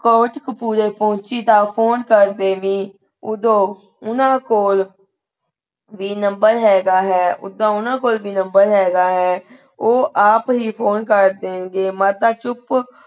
ਕੋਟਕਪੂਰੇ ਪਹੁੰਚੀ ਤਾਂ ਫੋਨ ਕਰ ਦੇਵੀ ਓਦੋਂ ਉਹਨਾਂ ਕੋਲ ਵੀ ਨੰਬਰ ਹੇਗਾ ਹੈ ਉੱਦਾਂ ਓਹਨਾਂ ਕੋਲ ਵੀ ਨੰਬਰ ਹੈਗਾ ਹੈ ਉਹ ਆਪ ਹੀ ਫੋਨ ਕਰ ਦੇਣਗੇ। ਮਾਤਾ ਚੁਪ,